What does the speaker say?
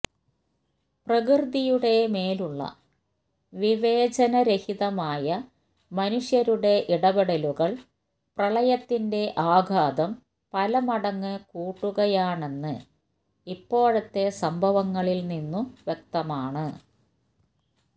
പ്രകൃതിയുടെ മേലുള്ള വിവേചനരഹിതമായ മനുഷ്യരുടെ ഇടപെടലുകള് പ്രളയത്തിന്റെ ആഘാതം പലമടങ്ങ് കൂട്ടുകയാണെന്ന് ഇപ്പോഴത്തെ സംഭവങ്ങളില്നിന്നു വ്യക്തമാണ്